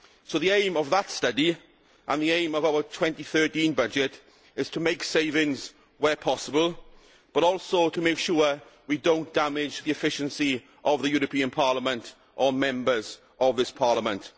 The aim of that study and the aim of our 2013 budget is to make savings where possible, but also to make sure we do not damage the efficiency of the European Parliament or of the Members of this Parliament.